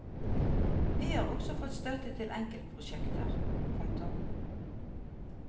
Vi har også fått støtte til enkeltprosjekter. punktum